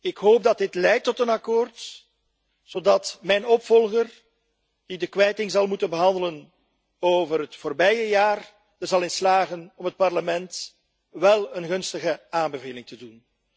Ik hoop dat dit leidt tot een akkoord, zodat mijn opvolger die de kwijting zal moeten behandelen over het voorbije jaar, erin zal slagen om het Parlement wél een gunstige aanbeveling te doen.